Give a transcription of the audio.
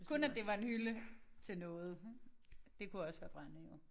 Kun at det var en hylde til noget det kunne også være brænde jo